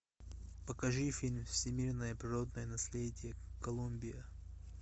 покажи фильм всемирное природное наследие колумбия